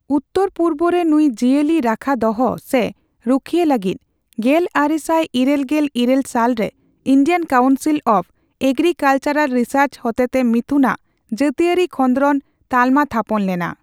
ᱩᱛᱛᱚᱨᱼᱯᱩᱨᱵᱚ ᱨᱮ ᱱᱩᱭ ᱡᱤᱭᱟᱹᱞᱤ ᱨᱟᱠᱷᱟ ᱫᱚᱦᱚ ᱥᱮ ᱨᱩᱠᱷᱤᱭᱟᱹ ᱞᱟᱹᱜᱤᱫ, ᱜᱮᱞᱟᱨᱮᱥᱟᱭ ᱤᱨᱟᱹᱞ ᱜᱮᱞ ᱤᱨᱟᱹᱞ ᱥᱟᱞᱨᱮ Indian council of agricultural research ᱦᱚᱛᱮᱛᱮ ᱢᱤᱛᱷᱩᱱ ᱟᱜ ᱡᱟᱹᱛᱤᱭᱟᱹᱨᱤ ᱠᱷᱚᱸᱫᱽᱨᱚᱸᱫᱽ ᱛᱟᱞᱢᱟ ᱛᱷᱟᱯᱚᱱ ᱞᱮᱱᱟ ᱾